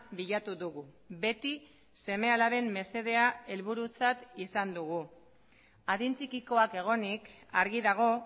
bilatu dugu beti seme alaben mesedea helburutzat izan dugu adin txikikoak egonik argi dago